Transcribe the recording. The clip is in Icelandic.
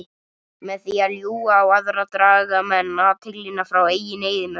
Með því að ljúga á aðra draga menn athyglina frá eigin eyðimörk.